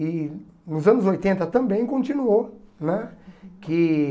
E nos anos oitenta também continuou né que.